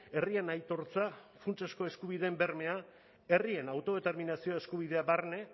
herrien aitortza funtsezko eskubideen bermea herrien autodeterminazio eskubidea barne